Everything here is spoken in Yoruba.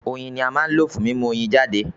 Oyin ni à ń lò fún mímú Oyin jáde